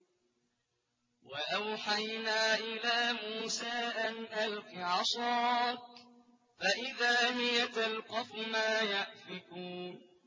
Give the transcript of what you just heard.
۞ وَأَوْحَيْنَا إِلَىٰ مُوسَىٰ أَنْ أَلْقِ عَصَاكَ ۖ فَإِذَا هِيَ تَلْقَفُ مَا يَأْفِكُونَ